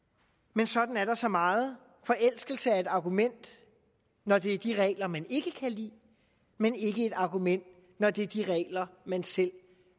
men sådan er der så meget forelskelse er et argument når det er de regler man ikke kan lide men ikke et argument når det er de regler man selv